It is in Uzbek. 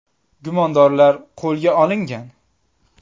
Gumondorlar qo‘lga olingan.